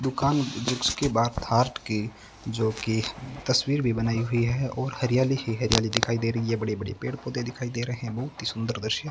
दुकान जिसके बाहर थाट की जो की तस्वीर भी बनाई हुई है और हरियाली ही हरियाली दिखाई दे रही है बड़े-बड़े पेड-पौधे दिखाई दे रहे है बहुत ही सुंदर दृश्य --